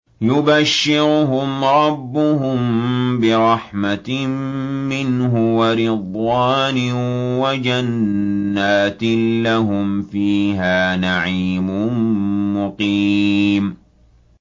يُبَشِّرُهُمْ رَبُّهُم بِرَحْمَةٍ مِّنْهُ وَرِضْوَانٍ وَجَنَّاتٍ لَّهُمْ فِيهَا نَعِيمٌ مُّقِيمٌ